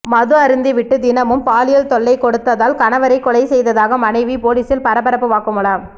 மது அருந்தி விட்டு தினமும் பாலியல் தொல்லை கொடுத்ததால் கணவரை கொலை செய்ததாக மனைவி பொலிசில் பரபரப்பு வாக்குமூலம்